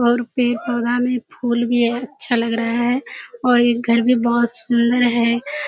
और पेड़-पौधा में फूल भी है। अच्छा लग रहा है और ये घर भी बहुत सुन्‍दर है।